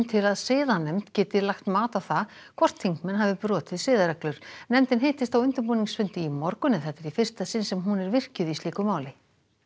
til að siðanefnd geti lagt mat á það hvort þingmenn hafi brotið siðareglur nefndin hittist á undirbúningsfundi í morgun en þetta er í fyrsta sinn sem hún er virkjuð í slíku máli